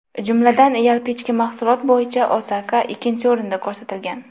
Jumladan, yalpi ichki mahsulot bo‘yicha Osaka ikkinchi o‘rinda ko‘rsatilgan.